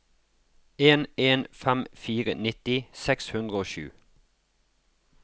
en en fem fire nitti seks hundre og sju